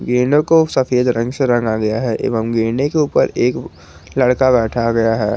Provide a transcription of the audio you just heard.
गैंडो को सफेद रंग से रंगा गया है एवं गेंडे के ऊपर एक लड़का बैठाया गया है।